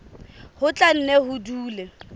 ho tla nne ho dule